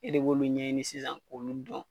E de b'olu ɲɛɲini sisan k'olu dɔn.